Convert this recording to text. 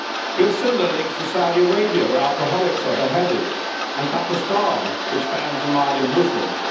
We have similar links to Saudi Arabia, where alcoholics are beheaded, and Pakistan, which bans the Ahmadi Muslims.